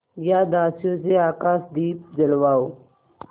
या दासियों से आकाशदीप जलवाऊँ